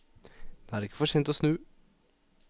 Det er ikke for sent å snu.